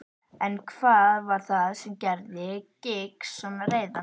En hvað var það sem gerði Giggs svona reiðan?